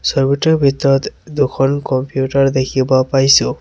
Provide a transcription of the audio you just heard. ছবিটোৰ ভিতৰত অ দুখন কম্পিউটাৰ দেখিব পাইছোঁ।